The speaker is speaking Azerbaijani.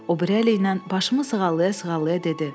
O biri əliylə başımı sığallaya-sığallaya dedi.